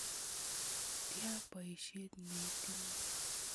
Tia poisyet ne itinye?